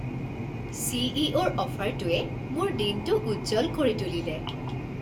চি.ই.অ'.ৰ অফাৰটোৱে মোৰ দিনটো উজ্জ্বল কৰি তুলিলে।